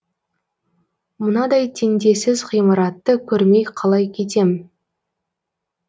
мынадай теңдессіз ғимаратты көрмей қалай кетем